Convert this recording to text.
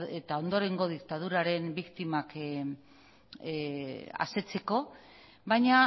eta ondorengo diktaduraren biktimak asetzeko baina